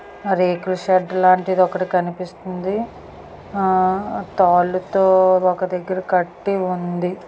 రేకుల షెడ్డు లాంటిదొకటి కనిపిస్తుంది ఆ తాళ్లతో ఒక దగ్గర కట్టి ఉంది.